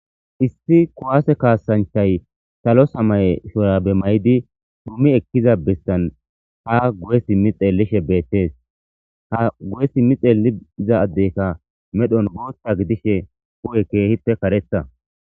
Issi kowaase kaasanchay salo samaye shorabe may'di duumi ekkiza bessan haguyes mixellishe beettes hagu'esi mixeliiza addeyka medhon booththa gidishe ku'e keehippe karetha.